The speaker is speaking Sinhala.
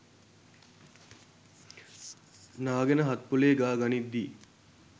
නාගෙන හත් පොළේ ගා ගනිද්දී